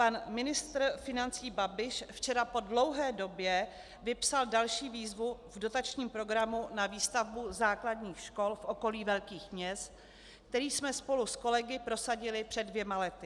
Pan ministr financí Babiš včera po dlouhé době vypsal další výzvu v dotačním programu na výstavbu základních škol v okolí velkých měst, který jsme spolu s kolegy prosadili před dvěma lety.